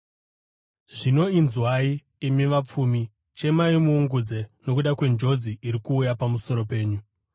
Zvino inzwai, imi vapfumi, chemai muungudze nokuda kwenjodzi iri kuuya pamusoro penyu.